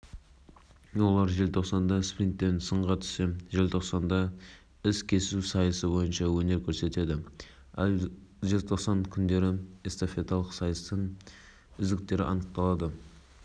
жарыста ел намысын спортшы қорғайды ерлер арасында ян савицкий максим браун антон пантов владислав витенко василий